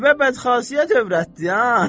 Qəribə bədxasiyyət övrətdi, ha.